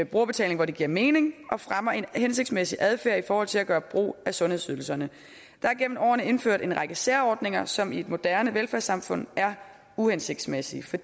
brugerbetaling hvor det giver mening og fremmer en hensigtsmæssig adfærd i forhold til at gøre brug af sundhedsydelserne der er gennem årene indført en række særordninger som i et moderne velfærdssamfund er uhensigtsmæssige for